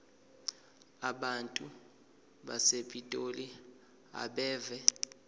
abantu basepitoli abeve